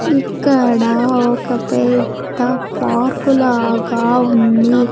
ఇక్కడ ఒక పెద్ద పార్కు లాగా ఉంది.